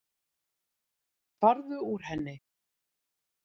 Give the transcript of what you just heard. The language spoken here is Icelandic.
Farðu úr henni.